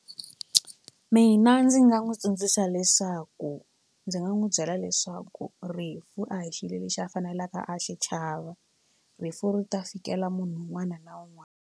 Mina ndzi nga n'wi tsundzuxa leswaku ndzi nga n'wi byela leswaku rifu a hi xilo lexi a faneleke a xi chava rifu ri ta fikela munhu un'wana na un'wana.